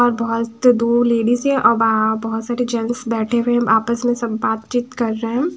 और बहोत से दूर लेडिस है और बा बहुत सारे जेंट्स बैठे हुए आपस में सब बातचीत कर रहे हैं।